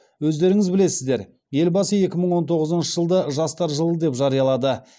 өздеріңіз білесіздер елбасы екі мың он тоғызыншы жылды жастар жылы деп жариялады